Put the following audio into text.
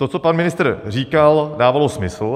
To, co pan ministr říkal, dávalo smysl.